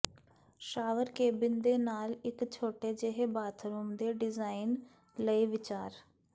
shower cabin ਦੇ ਨਾਲ ਇਕ ਛੋਟੇ ਜਿਹੇ ਬਾਥਰੂਮ ਦੇ ਡਿਜ਼ਾਇਨ ਲਈ ਵਿਚਾਰ